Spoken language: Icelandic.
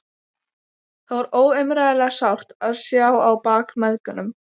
Það var óumræðilega sárt að sjá á bak mæðgunum.